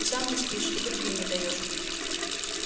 и сам не спишь и другим не даёшь